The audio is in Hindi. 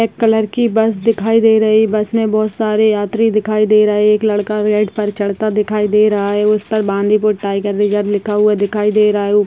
ब्लैक कलर की बस दिखाई दे रही है बस में बहुत सारे यात्री दिखाई दे रहे एक लड़का पर चढ़ता दिखाई दे रहा है उस पर बांदीपुर टाइगर रिज़र्व लिखा हुआ दिखाई दे रहा है।